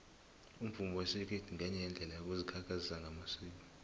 umvumo wesikhethu ngenye yeendlela yokuzikhakhazisa ngamasiko